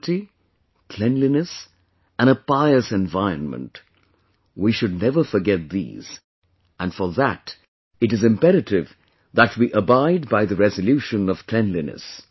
Purity, cleanliness and a pious environment... we should never forget these and for that, it is imperative that we abide by the resolution of cleanliness